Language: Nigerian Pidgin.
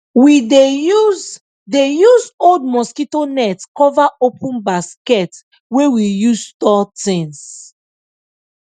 we dey use dey use old mosquito net cover open basket wey we use store things